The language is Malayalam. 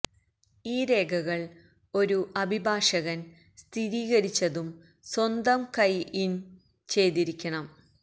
ഈ രേഖകൾ ഒരു അഭിഭാഷകൻ സ്ഥിരീകരിച്ചതും സ്വന്തം കൈ ഇൻ ചെയ്തിരിക്കണം